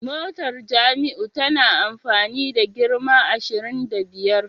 Motar Jamiu tana amfani da girma ashirin da biyar